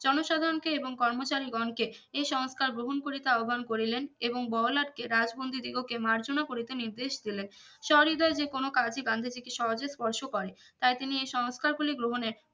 জনসাধারনকে এবং কর্মচারী গন কে এই সংস্কার গ্রহন করিতে আহ্বান করিলেন এবং বড়ো লাটকে রাজ্ফোন্দিদিগোকে মর্জোনা করিতে নির্দেশ দিলেন সহৃদয় যে কোনো কাজই গান্ধীজি কে সহজে স্পর্শ করে তাই তিনি এই সংস্কার গুলি গ্রহনে